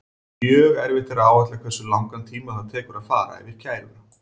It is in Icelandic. Mjög erfitt er að áætla hversu langan tíma það tekur að fara yfir kæruna.